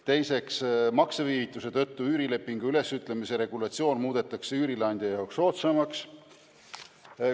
Teiseks, makseviivituse tõttu üürilepingu ülesütlemise regulatsioon muudetakse üürileandja jaoks soodsamaks.